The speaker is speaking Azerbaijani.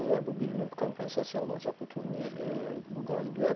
Və bu bir növ kompensasiya olacaq bu turnir, bu qalibiyyət.